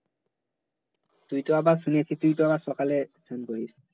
তুই তো আবার শুনেছি তুই তো আবার সকালে চান করিছ